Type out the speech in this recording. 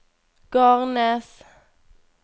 Garnes